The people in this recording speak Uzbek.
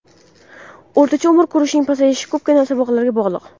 O‘rtacha umr ko‘rishning pasayishi ko‘pgina sabablarga bog‘liq.